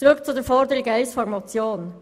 Zurück zur Forderung 1 der Motion.